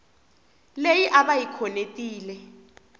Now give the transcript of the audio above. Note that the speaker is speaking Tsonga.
leyi a va yi khonetile